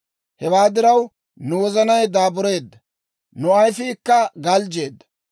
Hewaa diraw, nu wozanay daabureedda; nu ayifiikka galjjeedda.